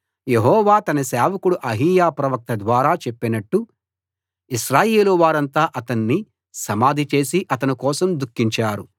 యెహోవా తన సేవకుడు అహీయా ప్రవక్త ద్వారా చెప్పినట్టు ఇశ్రాయేలు వారంతా అతన్ని సమాధి చేసి అతని కోసం దుఖించారు